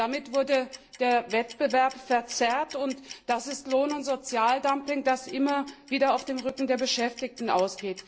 Damit wurde der Wettbewerb verzerrt, und das ist Lohn und Sozialdumping, das immer wieder auf dem Rücken der Beschäftigten erfolgt.